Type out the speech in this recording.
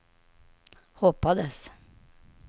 hoppades